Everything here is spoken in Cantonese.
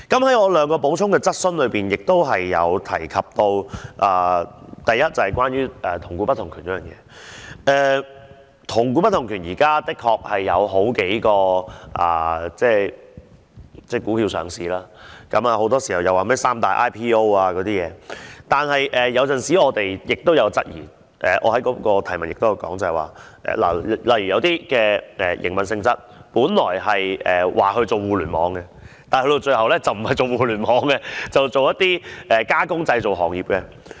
回到我的兩項補充質詢，我亦有提及關於"同股不同權"的問題，就是現時的確有數種股票上市，很多時候大家均提到"三大 IPO"， 但有時候我們也有所質疑——我的質詢是——例如就營運性質而言，有些本來說互聯網股，但到了最後並不是從事互聯網行業，而是從事加工製造行業。